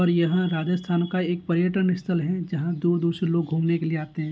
और यहाँ राजस्थान का एक पर्यटन स्थल जहां दूर-दूर से लोग घुमने के लिए आते हैं।